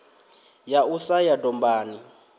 ya u sa ya dombani